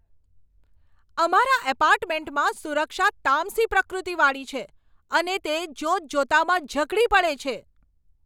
અમારા એપાર્ટમેન્ટમાં સુરક્ષા તામસી પ્રકૃતિવાળી છે અને તે જોતજોતામાં ઝઘડી પડે છે.